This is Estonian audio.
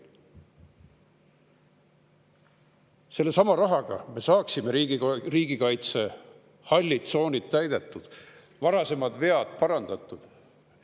Selle rahaga me saaksime riigikaitse hallid tsoonid täidetud ja varasemad vead parandatud.